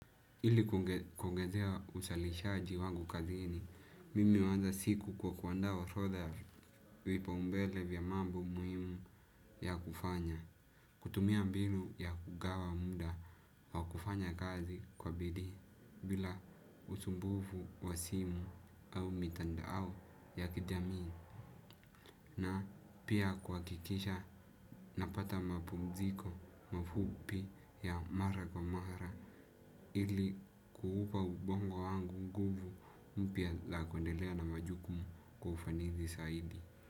Ili kuongezea uzalishaji wangu kazini, mimi huanza siku kwa kuandaa orodha vipaumbele vya mambo muhimu ya kufanya. Kutumia mbinu ya kugawa muda wa kufanya kazi kwa bidii bila usumbufu wa simu au mitandao ya kijami. Na pia kuhakikisha napata mapumziko mafupi ya mara kwa mara ili kuupa ubongo wangu nguvu mpya la kuendelea na majukumu kwa ufanisi zaidi.